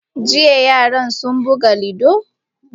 Jiya yaran sun buga ludo?